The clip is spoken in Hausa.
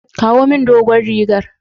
Ki kawo min dogon rigar.